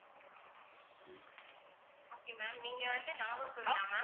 okay ma'am நீங்க வந்து நாகர்கோவிலா ma'am?